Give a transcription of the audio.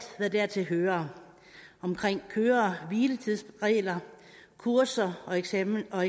hvad dertil hører om køre hvile tids regler kurser og eksamener og